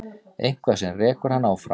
Eitthvað sem rekur hann áfram.